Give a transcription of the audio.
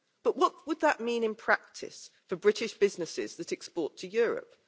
But what would that mean in practice for British businesses that export to Europe?